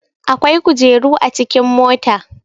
akwai kujeru a cikin mota